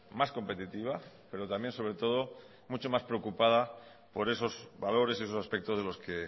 más competitiva pero también sobre todo mucho más preocupada por esos valores esos aspectos de los que